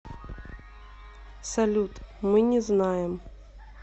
салют мы не знаем